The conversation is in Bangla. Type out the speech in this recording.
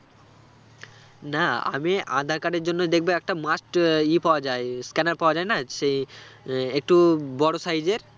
না আমি আঁধার card এর জন্য দেখব একটা must ইয় পাওয়া যায় scanner পাওয়া যায় না সেই আহ একটু বড় size এর